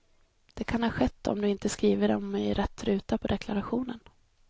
Det kan ha skett om du inte skrivit dem i rätt ruta på deklarationen.